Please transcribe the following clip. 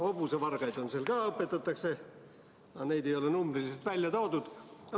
Hobusevargaid õpetatakse seal ka, aga neid ei ole numbriliselt välja toodud.